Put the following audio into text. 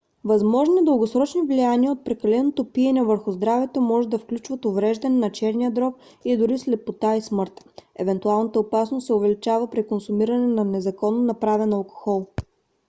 възможни дългосрочни влияния от прекаленото пиене върху здравето може да включват увреждане на черния дроб и дори слепота и смърт. евентуалната опасност се увеличава при консумиране на незаконно направен алкохол